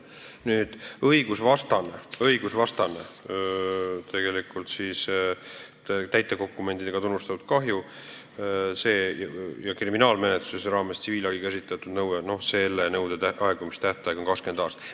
Aga kui on olnud õigusvastane tegu ja kahju on tegelikult täitedokumentidega tunnistatud ning kriminaalmenetluse raames on esitatud tsiviilhagi nõue, siis võiks nõude aegumise tähtaeg olla 20 aastat.